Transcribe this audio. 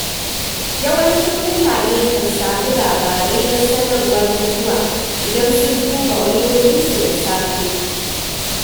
Yawancin mutane kan sami labarai da sanarwar mutuwa idan sun duba wayoyinsu da safe.